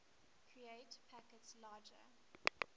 create packets larger